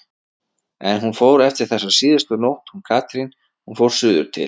En hún fór eftir þessa síðustu nótt hún Katrín, hún fór suður til